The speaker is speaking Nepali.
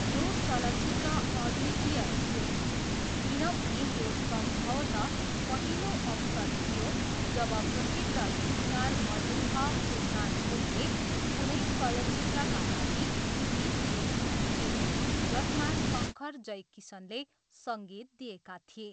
यो चलचित्र अद्वितीय थियो किनभने यो सम्भवतः पहिलो अवसर थियो जब प्रसिद्ध गीतकार मजरुह सुल्तानपुरीले कुनै चलचित्रका लागि गीत लेखेका थिए जसमा शङ्कर जयकिसनले सङ्गीत दिएका थिए।